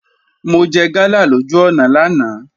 Mo jẹ gala lójú ọ̀nà lánàá